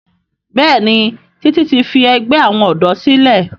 Béèni Titi ti fí àgbè àwọn odò sílè.